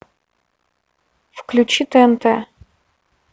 включи тнт